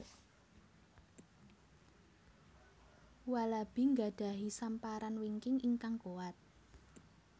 Walabi nggadhahi samparan wingking ingkang kuwat